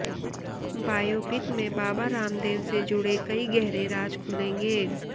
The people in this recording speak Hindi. बायोपिक में बाबा रामदेव से जुड़े कई गहरे राज खुलेंगे